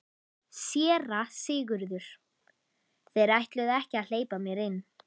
SÉRA SIGURÐUR: Þeir ætluðu ekki að hleypa mér inn.